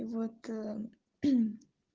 вот